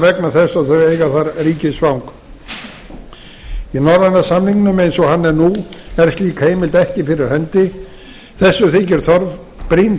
vegna þess að þau eiga þar ríkisfang í norræna samningnum eins og hann er nú er slík heimild ekki fyrir hendi þessu þykir brýn